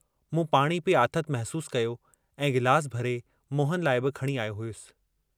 मूं पाणी पी आथत महसूस कयो ऐं गिलास भरे मोहन लाइ बि खणी आयो हुअस।